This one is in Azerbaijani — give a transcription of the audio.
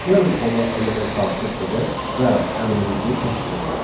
Gəlin ona element daxil edək və əmrimizi təkrarlayaq.